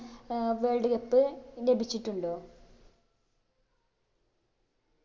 ഏർ world cup ലഭിച്ചിട്ടുണ്ടോ